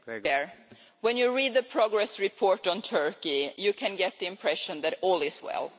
Mr President, when you read the progress report on Turkey, you can get the impression that all is well.